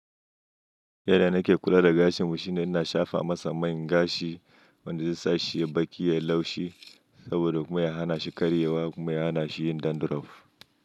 Yanda nake kula da gashinmu shine ina shafa masa man gashi wanda zai sa shi baki ya laushi saboda kuma ya hana shi karyewa kuma ya hana shi yin dandruff.